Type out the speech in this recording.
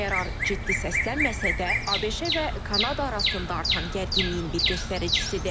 Qərar ciddi səslənməsə də, ABŞ və Kanada arasında artan gərginliyin bir göstəricisidir.